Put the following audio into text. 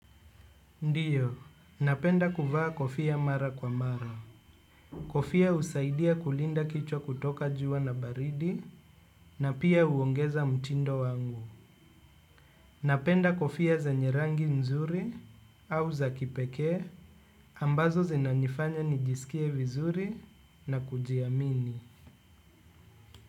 Ndiyo, napenda kuvaa kofia mara kwa mara. Kofia husaidia kulinda kichwa kutoka jua na baridi na pia uongeza mtindo wangu. Napenda kofia zenye rangi nzuri au za kipekee ambazo zinanifanya nijisikie vizuri na kujiamini.